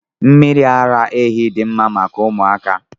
Mmiri ara ehi dị mma maka ụmụaka.